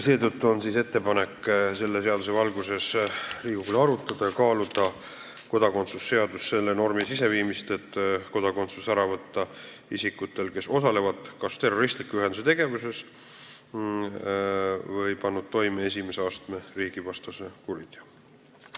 Seetõttu on ettepanek Riigikogule selle seaduseelnõu valguses arutada ja kaaluda ka kodakondsuse seadusse selle normi sisseviimist, et võtta kodakondsus ära isikutelt, kes osalevad kas terroristliku ühenduse tegevuses või on pannud toime esimese astme riigivastase kuriteo.